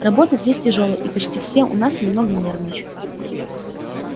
работа здесь тяжёлая и почти все у нас немного нервничают